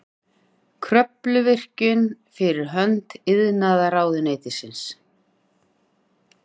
Kröfluvirkjun fyrir hönd iðnaðarráðuneytisins.